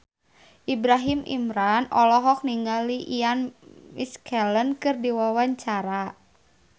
Ibrahim Imran olohok ningali Ian McKellen keur diwawancara